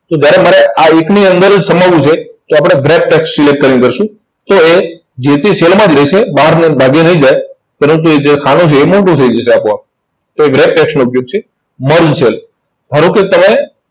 તો જયારે મારે આ એકની અંદર જ સમાવું છે, તો આપણે wrap text select કરશું. તો એ જે તે cell માં જ રહેશે. બહાર ભાગી નહિ જાય. પરંતુ જે ખાનું છે, એ મોટું થઇ જશે આપોઆપ. તો એ wrap text નો ઉપયોગ છે. Merge cell ધારો કે તમે